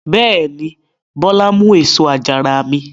Bẹ́ẹ̀ ni, Bọ́lá mú èso àjàrà mi.